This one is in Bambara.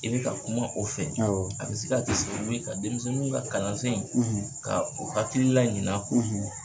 I bɛ ka kuma o fɛ, awɔ, a bɛ se ka kɛ sababu ye ka denmisɛnw ka kalansen in, , ka o hakili laɲina,